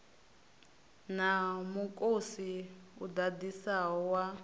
na mukosi u ḓaḓisaho wa